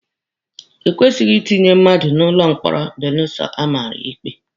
Ekwesịghị itinye mmadụ n'ụlọ mkpọrọ belụsọ amara ya ikpe.